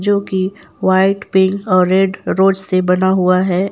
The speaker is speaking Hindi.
जो कि व्हाइट पिंक और रेड रोज से बना हुआ है।